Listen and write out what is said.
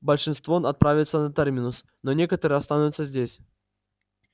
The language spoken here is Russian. большинство отправятся на терминус но некоторые останутся здесь